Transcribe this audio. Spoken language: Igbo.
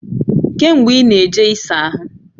Kee mgbe i na-eje i saa ahu?